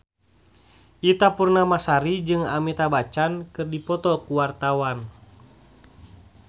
Ita Purnamasari jeung Amitabh Bachchan keur dipoto ku wartawan